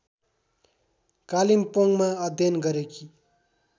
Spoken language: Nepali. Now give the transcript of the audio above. कालिम्पोङमा अध्ययन गरेकी